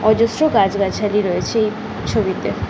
অজস্র গাছ গাছালি রয়েছে এই ছবিতে ।